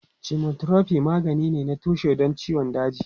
Chemotherapy magani ne na tushe don ciwon daji.